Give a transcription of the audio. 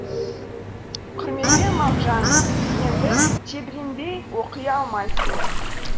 құрметпен мағжан дегенді тебіренбей оқи алмайсың